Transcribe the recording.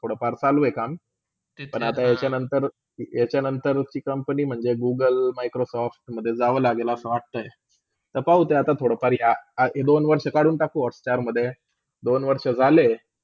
थोडा फार चालू आहे काम पण आता याचा नंतर ती company म्हणजे google, microsoft मडे जाऊ लागेल असा वाटताय. थोपा एव थोड्या फारया एक -दोन वर्षी कडून टाकू hotstar मधे, दोन वर्षा झाले.